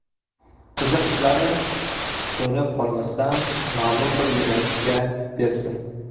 Qiziqishlari so‘nib qolmasdan, ma’lum bir yo‘nalishga bersin.